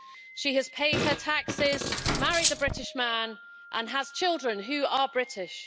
She has paid her taxes, married a British man and has children who are British.